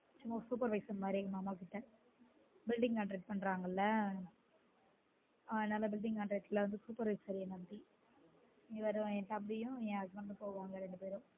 சும்மா supervisor மாதிரி எங்க மாமா கிட்ட building contract பண்றாங்கள அதுனால building contract la supervisor மாதிரி என் தம்பியும் என் husband ம் போவாங்க ரெண்டு பேரும்